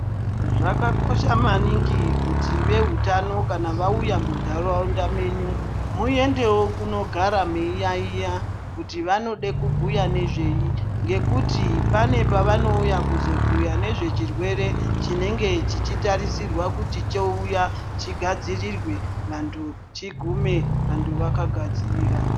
Zvakakosha maningi kuti vehutano kana vauya muntaraunda menyu muendewo kunogara meiyaiya kuti vanode kubhuya nezvei. Ngekuti pane pavanouya kuzobhuya nezvechirwere chinenge chichitarisirwa kuti chouya chigadzirirwe vantu chigume vantu vakagadzirira.